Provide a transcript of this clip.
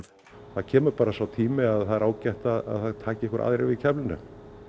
það kemur bara sá tími að það er ágætt að það taki einhverjir aðrir við keflinu